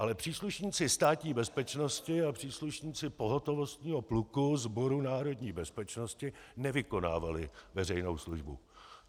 Ale příslušníci Státní bezpečnosti a příslušníci pohotovostního pluku Sboru národní bezpečnosti nevykonávali veřejnou službu.